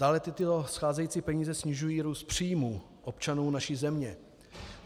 Dále tyto scházející peníze snižují růst příjmů občanů naší země.